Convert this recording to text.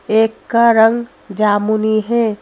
एक का रंग जामुनी है।